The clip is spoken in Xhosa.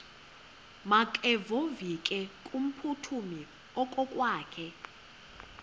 makevovike kumphuthumi okokwakhe